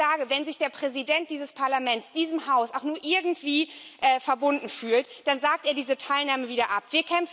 Ich sage Wenn sich der Präsident dieses Parlaments diesem Haus auch nur irgendwie verbunden fühlt, dann sagt er diese Teilnahme wieder ab.